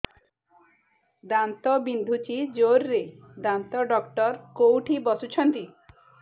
ଦାନ୍ତ ବିନ୍ଧୁଛି ଜୋରରେ ଦାନ୍ତ ଡକ୍ଟର କୋଉଠି ବସୁଛନ୍ତି